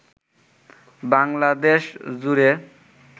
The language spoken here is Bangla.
বাংলাদেশ জুড়ে